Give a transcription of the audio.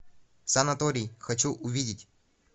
санаторий хочу увидеть